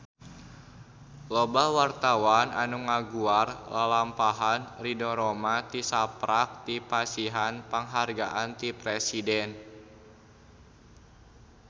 Loba wartawan anu ngaguar lalampahan Ridho Roma tisaprak dipasihan panghargaan ti Presiden